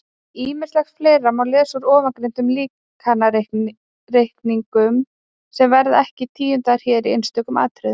Ýmislegt fleira má lesa úr ofangreindum líkanreikningum sem verður ekki tíundað hér í einstökum atriðum.